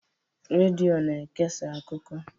Redio na-ekesa akụkọ.